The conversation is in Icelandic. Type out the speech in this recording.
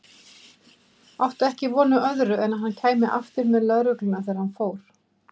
Átti ekki von á öðru en að hann kæmi aftur með lögregluna þegar hann fór.